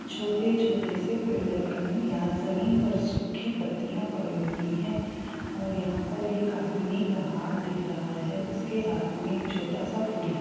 छोटे-छोटे से पेड़ लगे हुए हैं| यहाँ जमीन पर सूखी पत्तियाँ पड़ी हुई हैं और यहाँ पर एक आदमी का हाथ दिख रहा है उसके हाथ मे एक छोटा-सा फूल है।